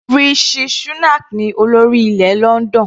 Rishi Shunak ní olórí ilẹ̀ London.